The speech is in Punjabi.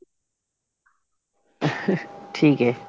ਠੀਕ ਐ